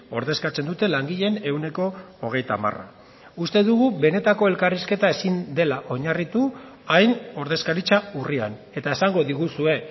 ordezkatzen dute langileen ehuneko hogeita hamar uste dugu benetako elkarrizketa ezin dela oinarritu hain ordezkaritza urrian eta esango diguzue